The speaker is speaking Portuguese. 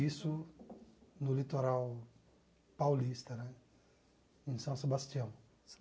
Isso no litoral paulista, né, em São Sebastião.